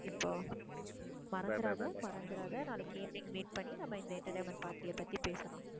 இப்போ மறந்துராத, மறந்துராத நாளைக்கு evening meet பண்ணி நம்ம இந்த entertainment party அ பத்தி பேசலாம்.